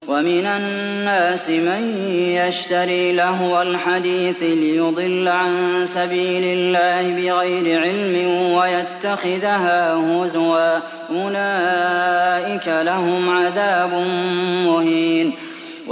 وَمِنَ النَّاسِ مَن يَشْتَرِي لَهْوَ الْحَدِيثِ لِيُضِلَّ عَن سَبِيلِ اللَّهِ بِغَيْرِ عِلْمٍ وَيَتَّخِذَهَا هُزُوًا ۚ أُولَٰئِكَ لَهُمْ عَذَابٌ مُّهِينٌ